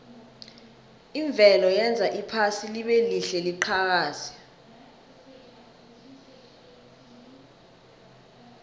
imvelo yenza iphasi libelihle liqhakaze